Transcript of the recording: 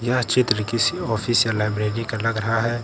यह चित्र किसी ऑफिस या लाइब्रेरी का लग रहा है।